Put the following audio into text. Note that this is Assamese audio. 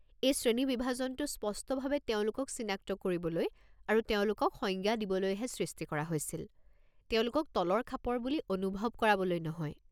এই শ্ৰেণীবিভাজনটো স্পষ্টভাৱে তেওঁলোকক চিনাক্ত কৰিবলৈ আৰু তেওঁলোকৰ সংজ্ঞা দিবলৈহে সৃষ্টি কৰা হৈছিল, তেওঁলোকক তলৰ খাপৰ বুলি অনুভৱ কৰাবলৈ নহয়।